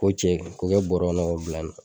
Ko cɛ k'o kɛ bɔrɛ kɔnɔ k'o bila yen nɔ